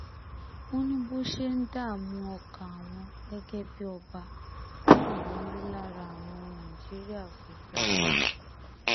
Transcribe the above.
wọ́n ní bó ṣe ń dààmú ọkàn àwọn gẹ́gẹ́ bíi ọba náà ló ń rí lára àwọn ọmọ nàìjíríà gbogbo